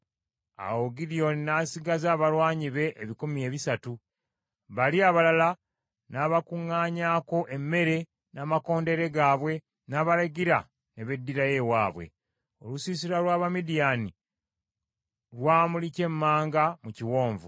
Awo Gidyoni n’asigaza abalwanyi be ebikumi ebisatu, bali abalala n’abakuŋŋaanyaako emmere n’amakondeere gaabwe, n’abalagira ne beddirayo ewaabwe. Olusiisira lw’Abamidiyaani lwamuli kyemmanga mu kiwonvu.